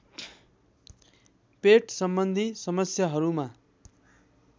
पेटसम्बन्धी समस्याहरूमा